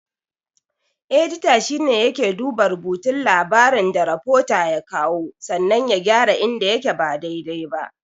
Edita shine yake duba rubutun labarin da rafota ya kawo sannan ya gyara inda yake ba dai-dai ba.